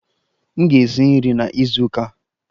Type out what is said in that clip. M ga-esi nri na izu ụka a